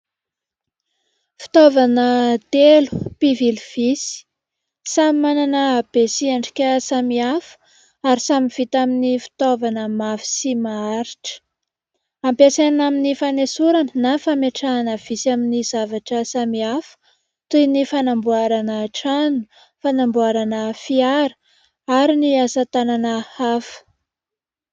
Fitaovana telo mpivily visy. Samy manana habe sy endrika samihafa ary samy vita amin'ny fitaovana mafy sy maharitra. Ampiasaina amin'ny fanesorana na fametrahana visy amin'ny zavatra samihafa toy ny fanamboarana trano, fanamboarana fiara ary ny asa tanana hafa.